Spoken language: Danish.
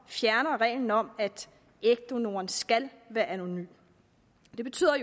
og fjerner reglen om at ægdonoren skal være anonym det betyder